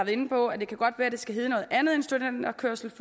inde på at det godt kan være at det skal hedde noget andet end studenterkørsel